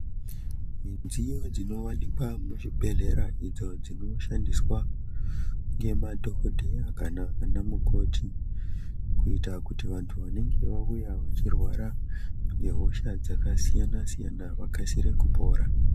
Midziyo dzinowanikwa muzvibhedhlera idzo dzinoshandiswa ngemadhokodheya kana anamukoti kuita kuti vantu vanenge vauya vachirwara ngehosha dzakasiyana siyana vakasire kupora.